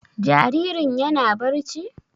Jaririn yana barci?